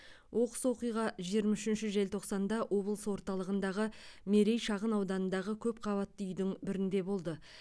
оқыс оқиға жиырма үшінші желтоқсанда облыс орталығындағы мерей шағын ауданындағы көпқабатты үйдің бірінде болды